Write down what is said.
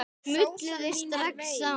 Smulluð þið strax saman?